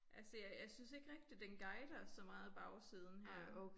Altså jeg jeg synes ikke rigtig den guider så mange bagsiden her